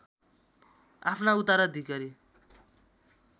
आफ्ना उत्तराधिकारी